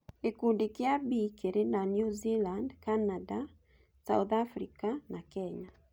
Gĩkundi kĩa B kĩrĩ na New Zealand, Canada, South Africa na Kenya